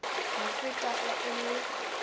mo feta ge e le